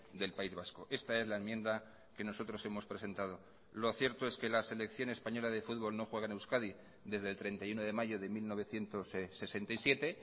del país vasco esta es la enmienda que nosotros hemos presentado lo cierto es que la selección española de fútbol no juega en euskadi desde el treinta y uno de mayo de mil novecientos sesenta y siete